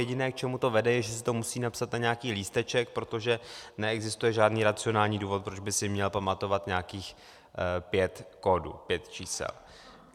Jediné, k čemu to vede, je, že si to musí napsat na nějaký lísteček, protože neexistuje žádný racionální důvod, proč by si měl pamatovat nějakých pět kódů, pět čísel.